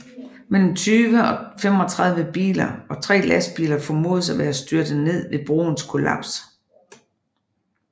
Mellem 30 og 35 biler og tre lastbiler formodes at være styrtet ned ved broens kollaps